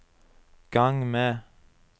gang med